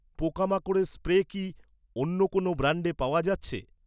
পোকামাকড়ের স্প্রে কি, অন্য কোনও ব্র্যান্ডে পাওয়া যাচ্ছে?